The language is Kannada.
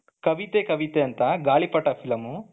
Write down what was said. ಕವಿತೆ ಕವಿತೆ ಅಂತ ಗಾಳಿಪಟ film